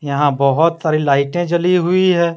यहा बहुत सारे लाइटें जाली हुई है।